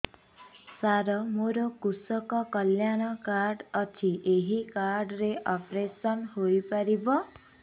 ସାର ମୋର କୃଷକ କଲ୍ୟାଣ କାର୍ଡ ଅଛି ଏହି କାର୍ଡ ରେ ଅପେରସନ ହେଇପାରିବ